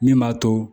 Min b'a to